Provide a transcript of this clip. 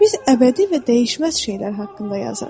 Biz əbədi və dəyişməz şeylər haqqında yazırıq.